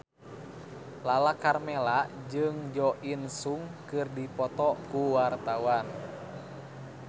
Lala Karmela jeung Jo In Sung keur dipoto ku wartawan